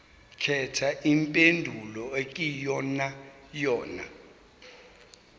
khetha impendulo eyiyonayona